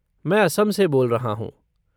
मैं असम से बोल रहा हूँ।